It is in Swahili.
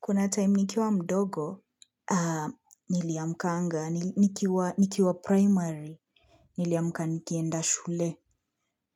Kuna time nikiwa mdogo, niliamkanga, nikiwa primary, niliamka nikienda shule.